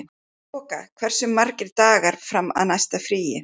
Þoka, hversu margir dagar fram að næsta fríi?